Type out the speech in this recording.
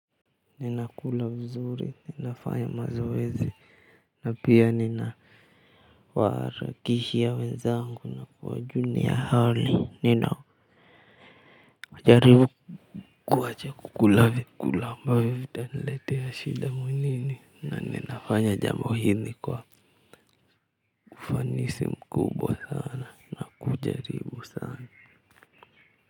Ninakula vizuri, ninafanya mazoezi na pia ninawaharakisha wenzangu na kuwajulia hali najaribu kuwacha kukula vyakula ambavyo vitaniletea shida mwilini. Na ninafanya jambo hili kwa ufanisi mkubwa sana na kujaribu sana.